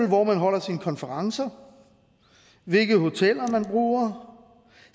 hvor man holder sine konferencer hvilke hoteller man bruger